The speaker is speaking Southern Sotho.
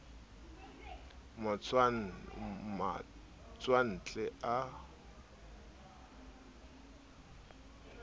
matswantle a iphumanang a le